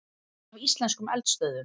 Snið af íslenskum eldstöðvum.